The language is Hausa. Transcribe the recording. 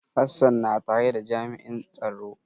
Hassan na tare da jami'in tsaro.